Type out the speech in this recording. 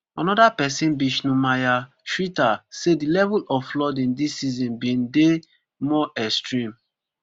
anoda pesin bishnu maya shretha say di level of flooding dis season bin dye more extreme